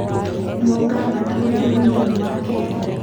Nũũ ngavana ũrĩa mũnini wa Kenya?